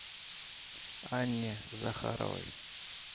анне захаровой